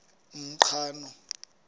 umqhano